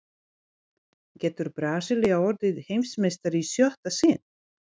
Getur Brasilía orðið Heimsmeistari í sjötta sinn?